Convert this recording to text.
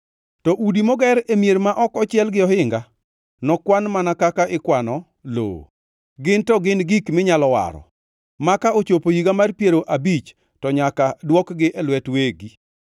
To udi moger e mier ma ok ochiel gi ohinga nokwan mana kaka ikwano lowo. Ginto gin gik minyalo waro, maka ochopo higa mar piero abich to nyaka dwokgi e lwet wegi.